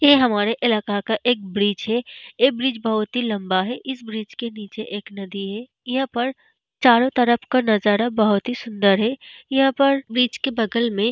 ये हमारे इलाका का एक ब्रिज है। ये ब्रिज बहुत ही लम्बा है। इस ब्रिज के निचे एक नदी है। यहाँ पर चारो तरफ का नज़ारा बोहोत ही सूंदर है। यह पर वृक्ष के बगल में --